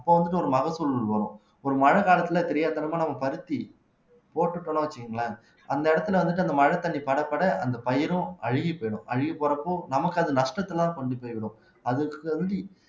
அப்ப வந்துட்டு ஒரு மகசூல் வரும் ஒரு மழைக்காலத்தில தெரியாத்தனமா நம்ம பருத்தி போட்டுட்டோம்னு வச்சுக்கோங்களேன் அந்த இடத்துல வந்துட்டு அந்த மழைத்தண்ணீர் படபட அந்த பயிரும் அழுகி போயிடும் அழுகி போறப்போ நமக்கு அது நஷ்டத்தை எல்லாம் கொண்டு போய்விடும் அதுக்கு வந்து